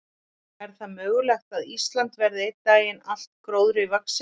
Er það mögulegt að Ísland verði einn daginn allt gróðri vaxið?